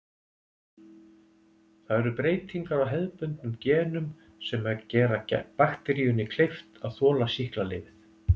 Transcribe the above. Það eru breytingar á hefðbundnum genum sem gera bakteríunni kleift að þola sýklalyfið.